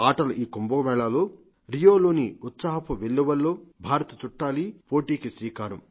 ఆటలు ఈ కుంభమేళాలో రియోలోని ఉత్సాహపు వెల్లువలో భారత్ చుట్టాలి పోటీకి శ్రీకారం